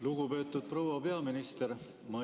Lugupeetud proua peaminister!